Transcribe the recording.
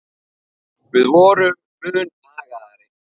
Við vorum mun agaðri.